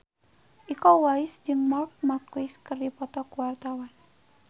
Iko Uwais jeung Marc Marquez keur dipoto ku wartawan